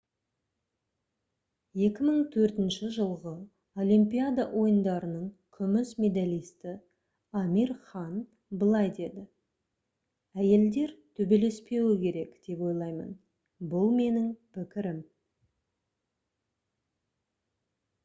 2004 жылғы олимпиада ойындарының күміс медалисті амир хан былай деді: «әйелдер төбелеспеуі керек деп ойлаймын. бұл менің пікірім»